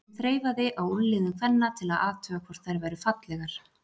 sem þreifaði á úlnliðum kvenna til að athuga hvort þær væru fallegar.